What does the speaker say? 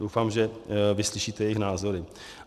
Doufám, že vyslyšíte jejich názory.